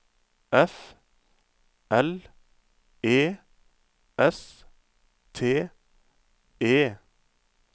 F L E S T E